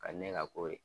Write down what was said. Ka di ne ka ko ye